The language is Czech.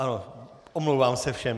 Ano, omlouvám se všem.